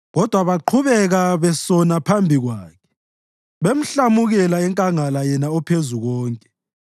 Kodwa baqhubeka besona phambi kwakhe, bamhlamukela enkangala yena oPhezukonke.